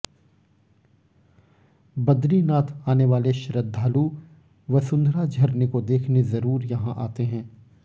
बद्रीनाथ आने वाले श्रद्धालु वसुंधरा झरने को देखने जरूर यहां आते हैं